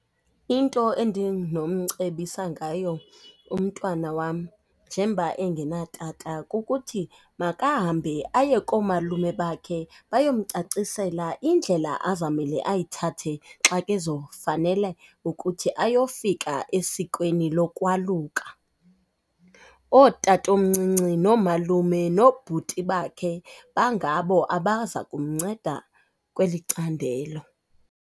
Into endinomcebisa ngayo umntwana wam njengoba engenatata kukuthi makahambe aye koomalume bakhe bayomcacisela indlela azamele ayithathe xa kezofanele ukuthi ayofika esikweni lokwaluka. Ootatomncinci noomalume noobhuti bakhe bangabo abaza kumnceda kweli candelo.